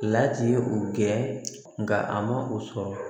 Lati ye o kɛ nka a ma o sɔrɔ